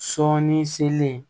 Sɔɔni selen